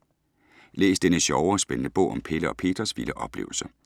Læs denne sjove og spændende bog om Pelle og Petras vilde oplevelser.